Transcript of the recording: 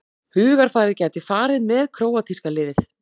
Hugarfarið gæti farið með króatíska liðið